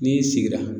N'i sigira